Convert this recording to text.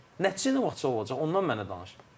Nəticə nə vaxtca olacaq, ondan mənə danış.